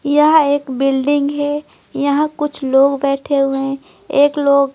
यहां एक बिल्डिंग है यहां कुछ लोग बैठे हुए हैं एक लोग।